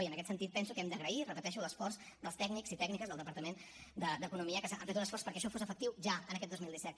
i en aquest sentit penso que hem d’agrair ho repeteixo l’esforç dels tècnics i tècniques del departament d’economia que han fet un esforç perquè això fos efectiu ja en aquest dos mil disset